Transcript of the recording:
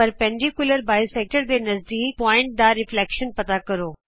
ਲੰਬ ਦੋਭਾਜਕ ਦੇ ਨਜਦੀਕ ਬਿੰਦੂ ਦਾ ਪ੍ਰਤਿਬਿੰਬ ਪਤਾ ਕਰੋ